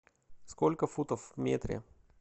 сколько футов в метре